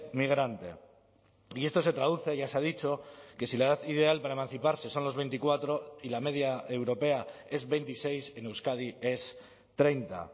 migrante y esto se traduce ya se ha dicho que si la edad ideal para emanciparse son los veinticuatro y la media europea es veintiséis en euskadi es treinta